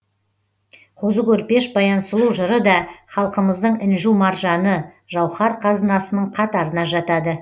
қозы көрпеш баян сұлу жыры да халқымыздың інжу маржаны жауһар қазынасының қатарына жатады